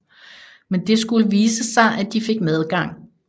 Men det skulle vise sig at de fik medgang